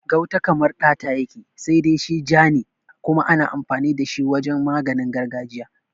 Gauta kamar ɗata yake, sai dai shi ja ne kuma ana amfani da shi wajen maganin gargajiya.